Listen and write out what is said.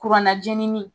Kuranna jenini